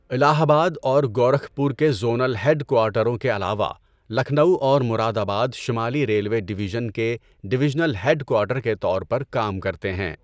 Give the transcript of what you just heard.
الہ آباد اور گورکھپور کے زونل ہیڈ کوارٹروں کے علاوہ، لکھنؤ اور مراد آباد شمالی ریلوے ڈویژن کے ڈویژنل ہیڈ کوارٹر کے طور پر کام کرتے ہیں۔